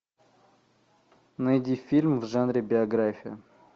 найди фильм в жанре биография